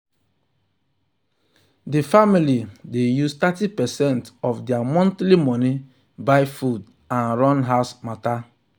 the family dey use thirty percent of their monthly money buy food and and run house matter.